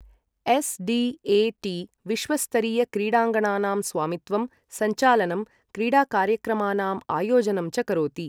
SDAT. विश्वस्तरीयक्रीडाङ्गणानां स्वामित्वं, संचालनं, क्रीडाकार्यक्रमाणाम् आयोजनं च करोति।